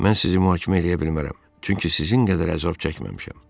Mən sizi mühakimə eləyə bilmərəm, çünki sizin qədər əzab çəkməmişəm.